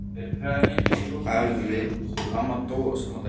Afi og amma dóu sama daginn.